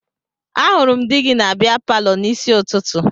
Ahụrụ m di gị na bịa palọ n'isi ụtụtụ